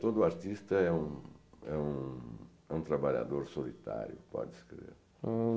Todo artista é um é um é um trabalhador solitário, pode se crer.